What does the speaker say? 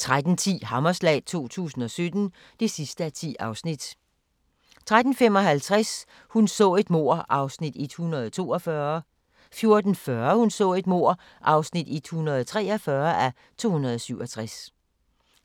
13:10: Hammerslag 2017 (10:10) 13:55: Hun så et mord (142:267) 14:40: Hun så et mord (143:267)